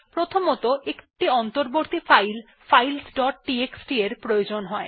প্রথমত একটি অন্তর্বর্তী ফাইল ফাইলস ডট টিএক্সটি প্রয়োজন হয়